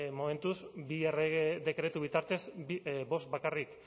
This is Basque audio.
momentuz bi errege dekretu bitartez bost bakarrik